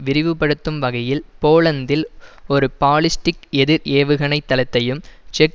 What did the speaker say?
விரிவுபடுத்தும் வகையில் போலந்தில் ஒரு பாலிஸ்டிக் எதிர் ஏவுகணை தளத்தையும் செக்